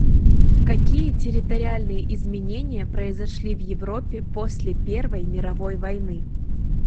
какие территориальные изменения произошли в европе после первой мировой войны